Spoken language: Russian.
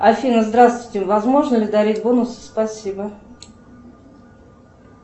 афина здравствуйте возможно ли дарить бонусы спасибо